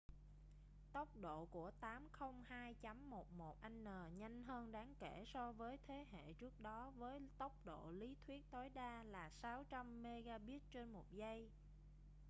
tốc độ của 802.11n nhanh hơn đáng kể so với thế hệ trước đó với tốc độ lý thuyết tối đa là 600mbit/giây